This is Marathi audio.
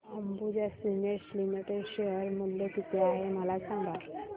अंबुजा सीमेंट्स लिमिटेड शेअर मूल्य किती आहे मला सांगा